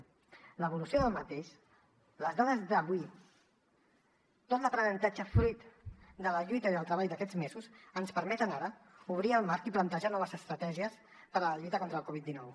la seva evolució les dades d’avui tot l’aprenentatge fruit de la lluita i del treball d’aquests mesos ens permeten ara obrir el marc i plantejar noves estratègies per a la lluita contra la covid dinou